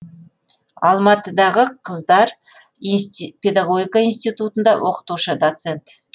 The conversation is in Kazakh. алматыдағы қыздар педагогика институтында оқытушы доцент